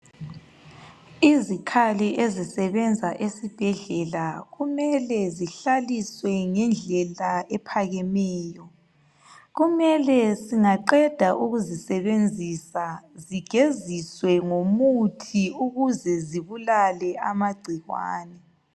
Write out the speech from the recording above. Izikhali ezisebenza esibhedlela kumele zihlaliswe ngendlela ephakemeyo. Kumele singaqeda ukuzisebenzisa zigeziswe ngomuthi ukuze zibulale amagcikwane